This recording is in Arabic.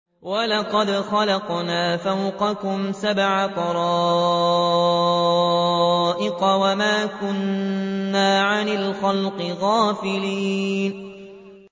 وَلَقَدْ خَلَقْنَا فَوْقَكُمْ سَبْعَ طَرَائِقَ وَمَا كُنَّا عَنِ الْخَلْقِ غَافِلِينَ